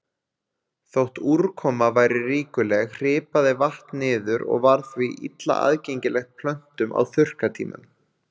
Þótt úrkoma væri ríkuleg hripaði vatn niður og var því illa aðgengilegt plöntum á þurrkatímum.